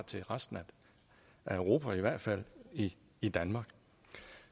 til resten af europa og i hvert fald i i danmark